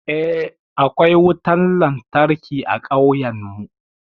Eh, akwai wutan lantarki a ƙauyan mu.